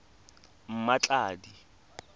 mmatladi